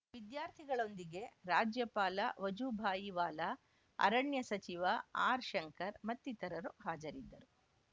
ವಿದ್ಯಾರ್ಥಿಗಳೊಂದಿಗೆ ರಾಜ್ಯಪಾಲ ವಜೂಭಾಯಿ ವಾಲಾ ಅರಣ್ಯ ಸಚಿವ ಆರ್‌ಶಂಕರ್‌ ಮತ್ತಿತರರು ಹಾಜರಿದ್ದರು